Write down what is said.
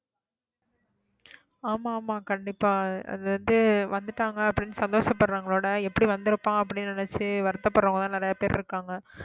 ஆமா ஆமா கண்டிப்பா அது வந்து வந்துட்டாங்க அப்படின்னு சந்தோஷப்படுறவங்களோட எப்படி வந்திருப்பான் அப்படின்னு நினைச்சு வருத்தப்படுறவங்கதான் நிறைய பேர் இருக்காங்க